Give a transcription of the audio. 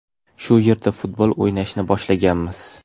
Shu yerda futbol o‘ynashni boshlaganmiz.